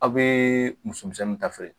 Aw be musomisɛnnin ta feere